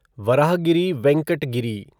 Varahagiri Venkata Giri